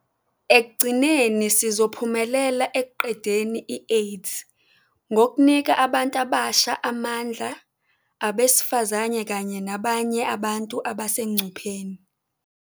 Ekugcineni, sizophumelela ekuqedeni i-AIDS ngokunika abantu abasha amandla, abesifazane kanye nabanye abantu abasengcupheni.